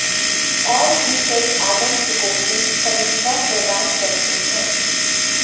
और भी कई आगंतुकों की समीक्षा प्रदान करते हैं